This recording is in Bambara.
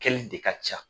Kɛli de ka ca